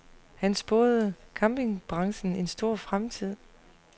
Han spåede campingbranchen en stor fremtid.